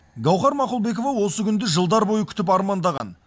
гауһар мақұлбекова осы күнді жылдар бойы күтіп армандаған